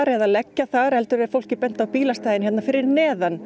eða leggja þar heldur er fólki bent á bílastæðin hér fyrir neðan